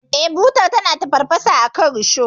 Eh, butar tana tafarfasa akan risho.